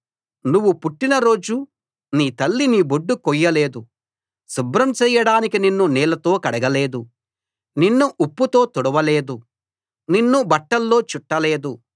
నువ్వు పుట్టిన రోజు నీ తల్లి నీ బొడ్డు కొయ్యలేదు శుభ్రం చెయ్యడానికి నిన్ను నీళ్ళతో కడగలేదు నిన్ను ఉప్పుతో తుడవలేదు నిన్ను బట్టల్లో చుట్టలేదు